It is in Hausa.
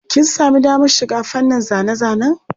Kin sami damar shiga fannin zane-zanen?